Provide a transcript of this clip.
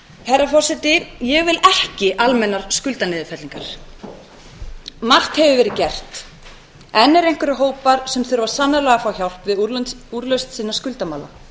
herra forseti ég vil ekki almennar skuldaniðurfellingar margt hefur verið gert enn eru einhverjir hópar sem þurfa sannarlega að fá hjálp við úrlausn sinna skuldamála